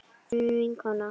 Þín vinkona